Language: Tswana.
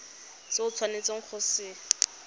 se o tshwanetseng go se